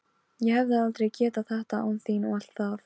Ég hefði aldrei getað þetta án þín og allt það.